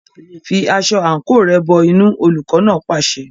Fi aṣọ àǹkóò rẹ̀ bọ inú, olùkọ́ náà pàṣẹ.